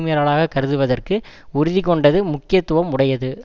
மீறலாகக் கருதுவதற்கு உறுதி கொண்டது முக்கியத்துவம் உடையது